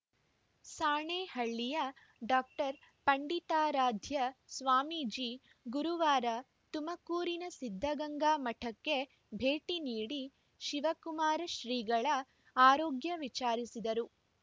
ಸಾಣೇಹಳ್ಳಿಯ ಡಾಪಂಡಿತಾರಾಧ್ಯ ಸ್ವಾಮೀಜಿ ಗುರುವಾರ ತುಮಕೂರಿನ ಸಿದ್ದಗಂಗಾ ಮಠಕ್ಕೆ ಭೇಟಿ ನೀಡಿ ಶಿವಕುಮಾರ ಶ್ರೀಗಳ ಆರೋಗ್ಯ ವಿಚಾರಿಸಿದರು